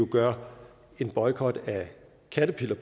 gør en boykot af caterpillar